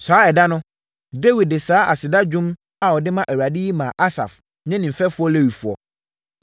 Saa ɛda no, Dawid de saa aseda dwom a ɔde ma Awurade yi maa Asaf ne ne mfɛfoɔ Lewifoɔ: